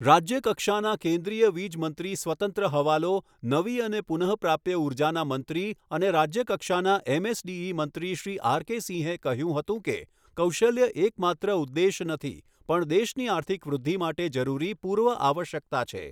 રાજ્ય કક્ષાનાં કેન્દ્રીય વીજ મંત્રી સ્વતંત્ર હવાલો, નવી અને પુનઃપ્રાપ્ય ઊર્જાના મંત્રી અને રાજ્ય કક્ષાના એમએસડીઇ મંત્રી શ્રી આર કે સિંહે કહ્યું હતું કે, કૌશલ્ય એકમાત્ર ઉદ્દેશ નથી, પણ દેશની આર્થિક વૃદ્ધિ માટે જરૂરી પૂર્વઆવશ્યકતા છે.